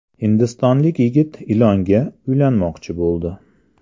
Hindistonlik yigit ilonga uylanmoqchi bo‘ldi.